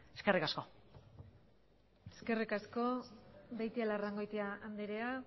eskerrik asko eskerrik asko beitialarrangoitia andrea